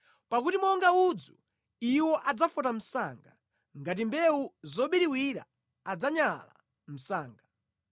pakuti monga udzu iwo adzafota msanga, ngati mbewu zobiriwira adzanyala msanga.